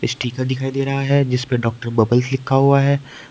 Sticker दिखाई दे रहा है जिसपे डॉक्टर बबल्स लिखा हुआ है।